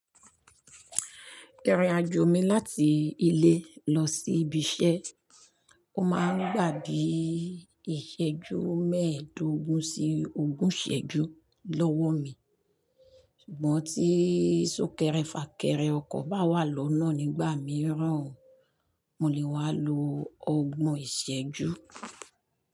Ìrìnàjò mi láti ilé lọ sí ibi iṣẹ́, ó máa ń gba bi ìṣẹ́jú mẹ́ẹ̀dógún sí ogún ìṣẹ́jú lọ́wọ́ mi, ṣùgbọ́n tí sunkẹ́rẹ́ fàkẹ́rẹ́ ọkọ̀ bá wà lọ́nà nígbà mìíràn, mo lè wá lo ọgbọ̀n ìṣẹ̀jú.